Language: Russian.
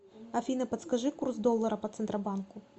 афина подскажи курс доллара по центробанку